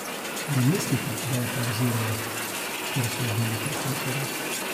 Ne mislite, da je pavzirala, ker so ubili profesorja.